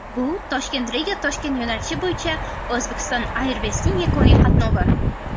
Bu ToshkentRigaToshkent yo‘nalishi bo‘yicha Uzbekistan Airways’ning yakuniy qatnovi.